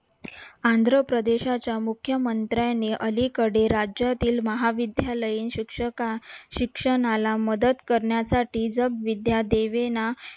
आंध्रप्रदेशाच्या मुख्यमंत्र्याने अलीकडे राज्यातील महाविद्यालयीन शिक्षक शिक्षणाला मदत करण्यासाठी जगविद्या दीवेना